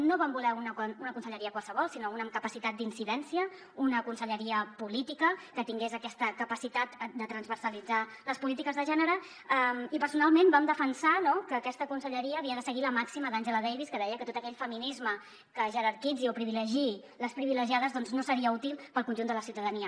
no vam voler una conselleria qualsevol sinó una amb capacitat d’incidència una conselleria política que tingués aquesta capacitat de transversalitzar les polítiques de gènere i personalment vam defensar que aquesta conselleria havia de seguir la màxima d’angela davis que deia que tot aquell feminisme que jerarquitzi o privilegiï les privilegiades doncs no seria útil per al conjunt de la ciutadania